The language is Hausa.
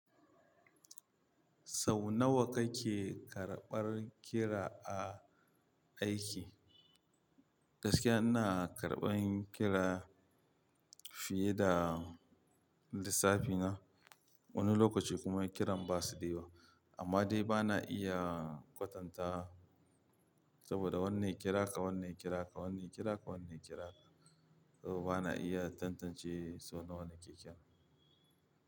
Sau nawa kake karɓan kira aiki? Gaskiya ina karɓan kira fiye da lissafina, wani lokaci kuma kiran ba su da yawa. Amma dai ba na iya kwatanta saboda wanne kira ka, wanne kira ka, wanne kira ka, wanne kira ka. To ba na iya tantance sau nawa na ke kira.